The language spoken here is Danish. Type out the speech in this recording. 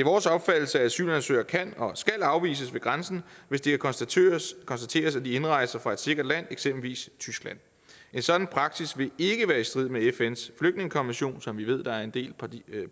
er vores opfattelse at asylansøgere kan og skal afvises ved grænsen hvis det konstateres konstateres at de indrejser fra et sikkert land eksempelvis tyskland en sådan praksis vil ikke være i strid med fns flygtningekonvention som vi ved der er en del